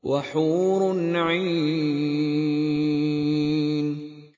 وَحُورٌ عِينٌ